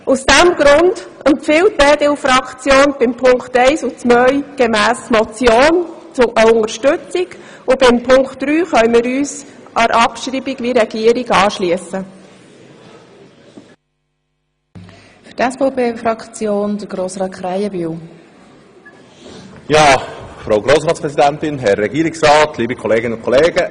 Aus diesem Grund empfiehlt die EDU-Fraktion bei den Punkten 1 und 2 eine Unterstützung als Motion, und bei Punkt 3 können wir uns dem Abschreibungswunsch der Regierung anschliessen.